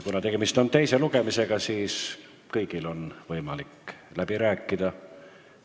Kuna tegemist on teise lugemisega, siis on kõigil võimalik läbi rääkida.